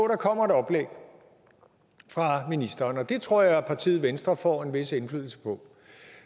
der kommer et oplæg fra ministeren og det tror jeg partiet venstre får en vis indflydelse på